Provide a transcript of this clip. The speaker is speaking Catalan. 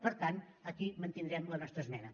per tant aquí mantindrem la nostra esmena